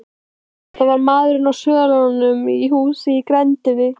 Þetta var maður á svölum á húsi í grenndinni.